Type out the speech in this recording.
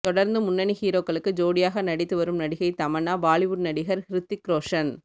தொடர்ந்து முன்னணி ஹீரோக்களுக்கு ஜோடியாக நடித்து வரும் நடிகை தமன்னா பாலிவுட் நடிகர் ஹ்ரித்திக் ரோஷன்